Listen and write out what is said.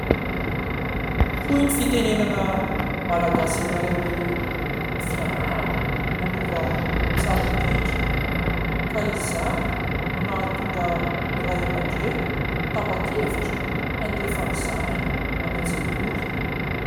Hoy ny fitenenana malagasy iray hoe : ''Ny fianarana no lova tsara indrindra'' ka izany no nahatonga ny Ray aman-dreny tapa-kevitra handefa ny zanany any an-tsekoly.